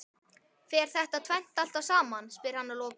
Fer þetta tvennt alltaf saman? spyr hann að lokum.